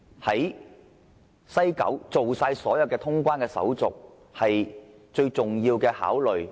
在西九龍站辦好所有通關手續是否他們最重要的考慮？